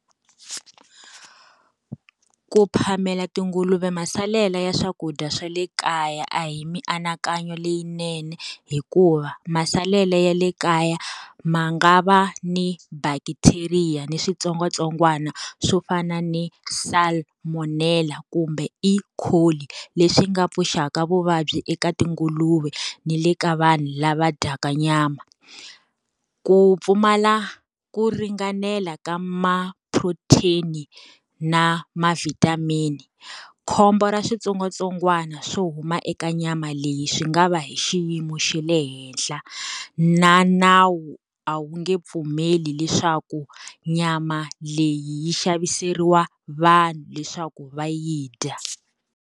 Ku phamela tinguluve masalela ya swakudya swa le kaya a hi mianakanyo leyinene hikuva, masalela ya le kaya ma nga va ni bacteria ni switsongwatsongwana swo fana ni salmonella kumbe E. coli leswi nga vuxaka vuvabyi eka tinguluve ni le ka vanhu lava dyaka nyama. Ku pfumala ku ringanela ka ma-protein na ma-vitamin, khombo ra switsongwatsongwana swo huma eka nyama leyi swi nga va hi xiyimo xa le henhla, na nawu a wu nge pfumeli leswaku nyama leyi yi xaviseriwa vanhu leswaku va yi dya.